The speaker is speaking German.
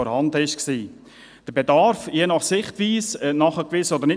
Je nach Sichtweise ist der Bedarf nachgewiesen oder nicht.